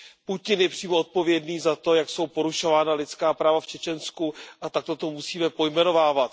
Putin je přímo odpovědným za to, jak jsou porušována lidská práva v Čečensku, a takto to musíme pojmenovávat.